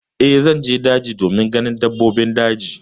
Eh, zan je daji domin ganin dabbobin daji.